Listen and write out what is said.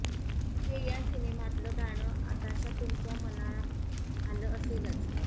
हे या सिनेमातलं गाणं आताशा तुमच्या मनात आलं असेलच